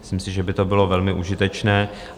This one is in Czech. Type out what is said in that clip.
Myslím si, že by to bylo velmi užitečné.